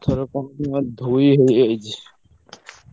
ଏଥରକ କଣ ନା ଧୋଇ ହେଇଯାଇଚି।